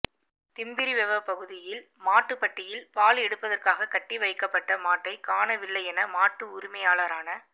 திம்பிரிவெவ பகுதியில் மாட்டுப்பட்டியில் பால் எடுப்பதற்காக கட்டி வைக்கப்பட்ட மாட்டை காணவில்லையென மாட்டு உரிமையாளரான